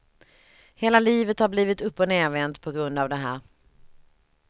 Hela livet har blivit uppochnervänt på grund av det här.